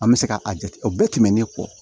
An bɛ se ka a jate o bɛɛ tɛmɛnen kɔ